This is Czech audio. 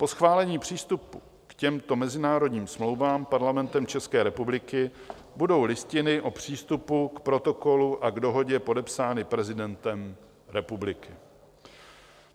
Po schválení přístupu k těmto mezinárodním smlouvám Parlamentem České republiky budou listiny o přístupu k Protokolu a k Dohodě podepsány prezidentem republiky.